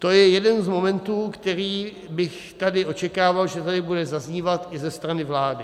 To je jeden z momentů, který bych tady očekával, že tady bude zaznívat i ze strany vlády.